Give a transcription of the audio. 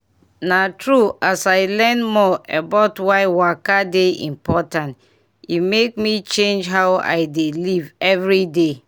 na true as i learn more about why waka dey important e make me change how i dey live every day.